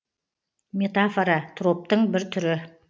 метафора троптың бір түрі